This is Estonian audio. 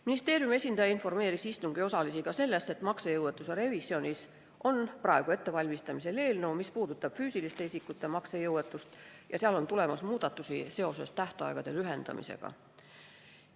Ministeeriumi esindaja informeeris istungi osalisi ka sellest, et maksejõuetuse revisjonis on praegu ettevalmistamisel eelnõu, mis puudutab füüsiliste isikute maksejõuetust, ja selles on muudatusi tähtaegade lühendamise kohta.